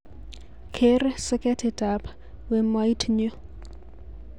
Ker soketitab wemoit nyu